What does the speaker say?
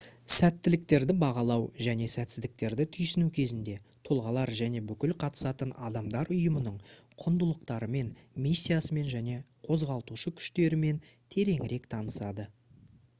сәттіліктерді бағалау және сәтсіздіктерді түйсіну кезінде тұлғалар және бүкіл қатысатын адамдар ұйымның құндылықтарымен миссиясымен және қозғалтушы күштерімен тереңірек танысады